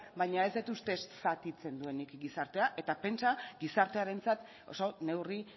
baina ez dut uste zatitzen duenik gizartea eta pentsa gizartearentzat oso neurri